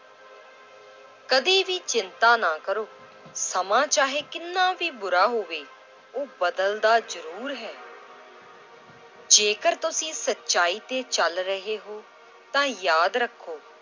ਕਦੇ ਵੀ ਚਿੰਤਾ ਨਾ ਕਰੋ ਸਮਾਂ ਚਾਹੇ ਕਿੰਨਾ ਵੀ ਬੁਰਾ ਹੋਵੇ, ਉਹ ਬਦਲਦਾ ਜ਼ਰੂਰ ਹੈ ਜੇਕਰ ਤੁਸੀਂ ਸਚਾਈ ਤੇ ਚੱਲ ਰਹੇ ਹੋ ਤਾਂ ਯਾਦ ਰੱਖੋ